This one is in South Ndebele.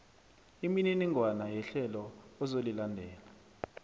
imininingwana yehlelo ozolilandela